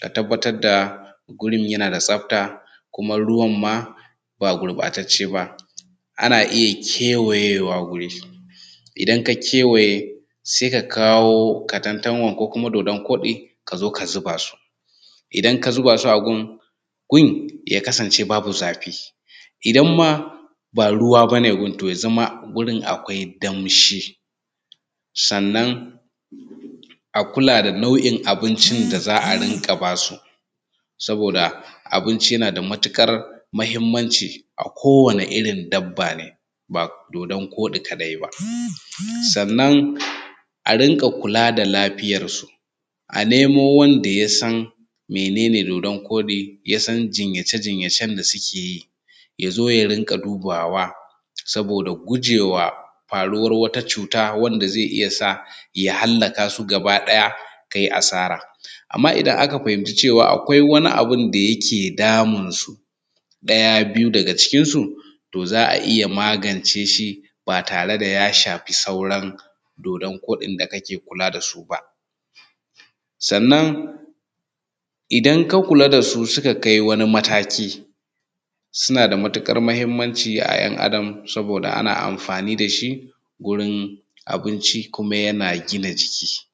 ka tabbatar da wurin yana da tsafta kuma ruwan ma ba gubatatce ba. Ana iya kewayewa wuri, idan ka kewaye sai ka kawo katantanwan ko dodon koɗi ka zo ka zuba su. Idan ka zuba su a gun, gun ya kasance babu zafi in ma ba ruwa ba ne gun ya zama gurin akwai danshi. Sannan a kula da nau'in abincin da za a rinƙa ba su saboda abinci yana da matuƙar muhimmanci a kowani irin dabba ne ba dodan koɗi kaɗai ba. Sannan a rinƙa kula da lafiyansu, a nemo wanda ya san mene ne dodan koɗi, ya san jinyace jinyacen da suke yi ya zo rinƙa dubawa saboda gujewa faruwan wata cuta wanda zai iya sa ya halaka su gaba ɗaya ka yi asara. Amma idan aka fahimci cewa akwai wani abun da yake damun su ɗaya, biyu daga cikin su to za a iya magance shi ba tare da ya shafi sauran dodon koɗi da kake kula da su ba. Sannan idan ka kula da su suka kai wani mataki suna da matuƙar muhimmanci a ‘yan Adam saboda ana amfani da shi gurin abinci kuma yana gina jiki.